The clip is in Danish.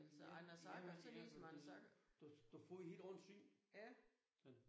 Jamen jamen jamen det du du får et helt andet syn ja